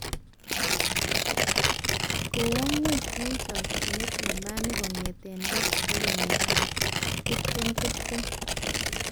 Kowo ngong eng chochinet nambani kongetee let nebo 2020